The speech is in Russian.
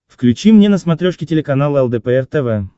включи мне на смотрешке телеканал лдпр тв